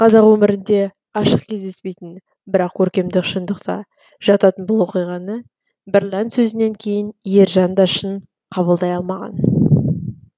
қазақ өмірінде ашық кездеспейтін бірақ көркемдік шындыққа жататын бұл оқиғаны бірлән сөзінен кейін ержан да шын қабылдай алмаған